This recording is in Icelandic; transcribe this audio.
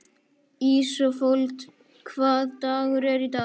Ísafold, hvaða dagur er í dag?